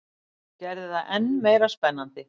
Gerði það enn meira spennandi.